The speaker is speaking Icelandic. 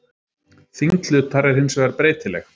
Þyngd hlutar er hins vegar breytileg.